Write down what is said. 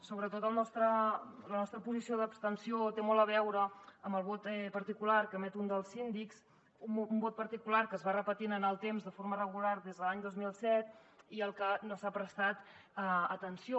sobretot la nostra posició d’abstenció té molt a veure amb el vot particular que emet un dels síndics un vot particular que es va repetint en el temps de forma regular des de l’any dos mil set i al que no s’ha prestat atenció